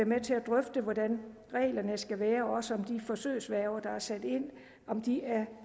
med til at drøfte hvordan reglerne skal være også om de forsøgsværger der er sat ind